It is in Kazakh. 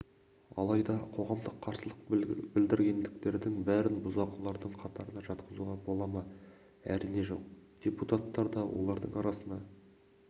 алайда қоғамға қарсылық білдіргендердің бәрін бұзақылардың қатарына жатқызуға бола ма әрине жоқ депутаттар да олардың арасына